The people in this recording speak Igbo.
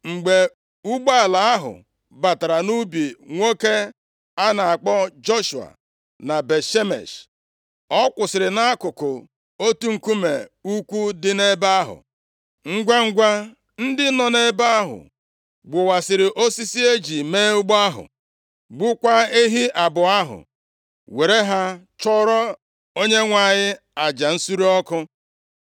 Mgbe ụgbọala ahụ batara nʼubi nwoke a na-akpọ Joshua na Bet-Shemesh, ọ kwụsịrị nʼakụkụ otu nkume ukwu dị nʼebe ahụ. Ngwangwa, ndị nọ nʼebe ahụ gbuwasịrị osisi e ji mee ụgbọ ahụ, gbukwaa ehi abụọ ahụ, were ha chụọrọ Onyenwe anyị aja nsure ọkụ.